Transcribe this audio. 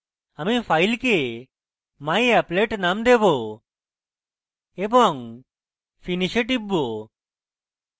আমি file myapplet name দেবো এবং finish এ টিপব